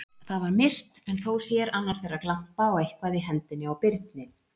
Þar var myrkt, en þó sér annar þeirra glampa á eitthvað í hendinni á Birni.